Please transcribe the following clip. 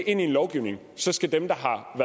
ind i lovgivning så skal dem der